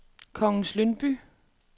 Kongens Lyngby